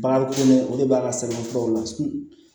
Bagan kolo o de b'a ka sɛbɛnfuraw la